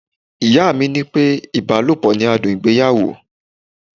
Ìyá mi ní pé ibalopo ni adùn ìgbéyàwó.